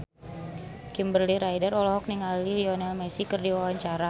Kimberly Ryder olohok ningali Lionel Messi keur diwawancara